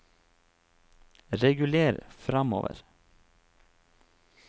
reguler framover